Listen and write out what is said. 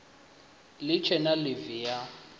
si tshe na ḽivi ya